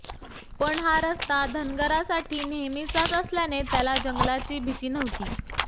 पण हा रस्ता धनगरासाठी नेहमीचाच असल्याने त्याला जंगलाची भीती नव्हती